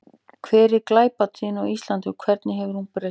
Hver er glæpatíðni á Íslandi og hvernig hefur hún breyst?